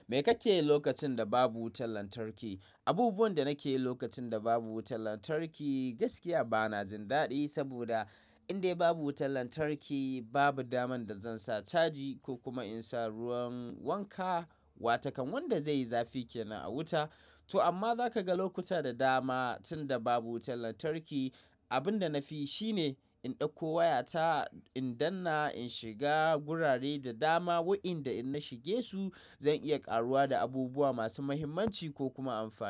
Me kake yi lokacin da babu wutar lantarki? Abubuwan da nake yi lokacin da babu wutar lantarki gaskiya ba na jin daɗi, saboda in dai babu wutar lantarki babu daman da zan sa caji ko kuma in sa ruwan wanka, wa takan wanda zai yi zafi kenan a wuta. To amma za ka ga lokuta da dama tunda babu wutar lantarki, abin da na fi shine in ɗauko wayata in danna in shiga gurare da dama, waɗanda in na shige su zan iya karuwa da abubuwa masu muhimmanci ko kuma amfani.